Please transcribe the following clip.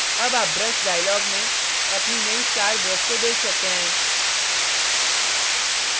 अब आप brush dialog में अपनी now star brush को देख सकते हैं